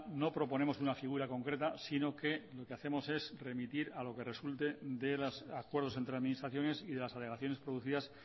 no proponemos una figura concreta sino que lo que hacemos es remitir a lo que resulte de los acuerdos entre administraciones y de las alegaciones producidas